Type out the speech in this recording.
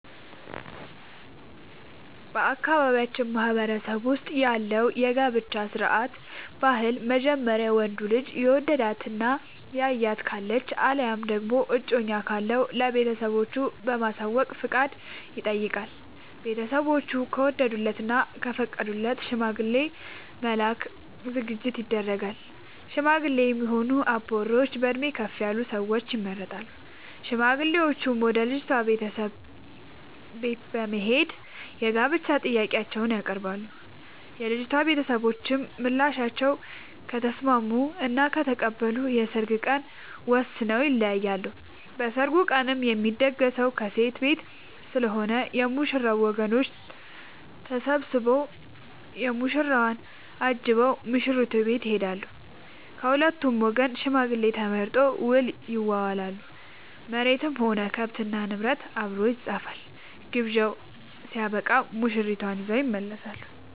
በአካባቢያችን ማህበረሰብ ውስጥ ያለው የጋብቻ ስርዓት/ ባህል በመጀመሪያ ወንዱ ልጅ የወደዳት እና ያያት ካለች አለያም ደግሞ እጮኛ ካለው ለቤተሰቦቹ በማሳወቅ ፍቃድ ይጠይቃል። ቤተስቦቹ ከወደዱለት እና ከፈቀዱለት ሽማግሌ ለመላክ ዝግጅት ይደረጋል። ሽማግሌ የሚሆኑ አባወራዎች በእድሜ ከፍ ያሉ ሰዎች ይመረጣሉ። ሽማግሌዎቹም ወደ ልጅቷ ቤተሰቦች በት በመሄድ የጋብቻ ጥያቄአቸውን ያቀርባሉ። የልጂቷ ቤተሰቦችም በምላሻቸው ከተስምስሙ እና ከተቀበሉ የሰርግ ቀን ወስነው ይለያያሉ። በሰርጉ ቀንም የሚደገሰው ከሴት ቤት ስለሆነ የ ሙሽራው ወገኖች ተሰብስቧ ሙሽራውን አጅበው ሙሽሪት ቤት ይሄዳሉ። ከሁለቱም ወገን ሽማግሌ ተመርጦ ውል ይዋዋላሉ መሬትም ሆነ ከብት እና ንብረት አብሮ ይፃፋል። ግብዣው ስበቃም ሙሽርትን ይዘው ይመለሳሉ።